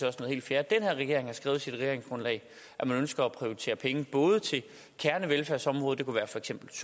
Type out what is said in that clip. fjerde den her regering har skrevet i sit regeringsgrundlag at man ønsker at prioritere penge både til kernevelfærdsområder det kunne for eksempel